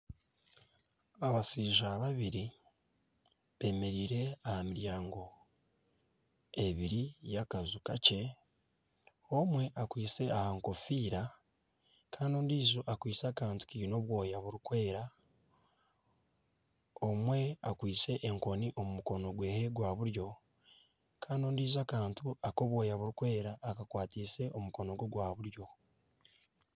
Abashaija babiri beemereire aha miryango ebiri y'akaju kakye, omwe akwitse aha nkofiira kandi ondiijo akwitse aha kantu kiine obwoyo burikwiragura, omwe akwitse enkoni omu mukono gwe gwa buryo kandi ondiijo akantu akarikwera akakwatise omukono gwe gwa buryo